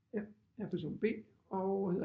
Ja jeg er person B og hedder